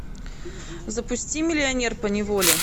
запусти миллионер поневоле